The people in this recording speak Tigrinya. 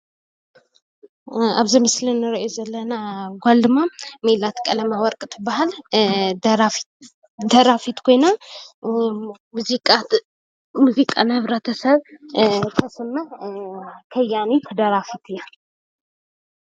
ኣብዚ ምስሊ ንርእያ ዘለና ጓል ድማ ሜላት ቀለም ወርቅ ትብሃል:: ደራፊት ኮይና ሙዚቃ ንሕብረተሰብ ተስምዕ ከያኒት ደራፊት እያ::